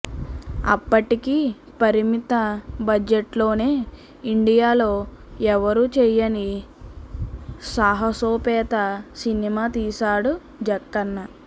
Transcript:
అప్పటికి పరిమిత బడ్జెట్లోనే ఇండియాలో ఎవ్వరూ చేయని సాహసోపేత సినిమా తీశాడు జక్కన్న